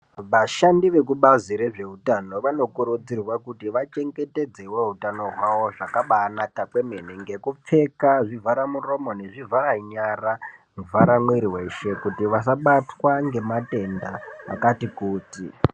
Vashandi vekubazi rezvehutano vanokuridzirwa kuti vachengetedzewo hutano hwawo zvakabanaka kwemene kengupfeka zvivharamuromo nezvivharanyara nezvizvaramwiri weshe kuti vasabatwa ngematenda akatikuti.